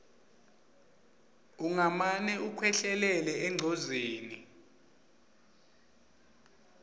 ungamane ukhwehlelele engcozeni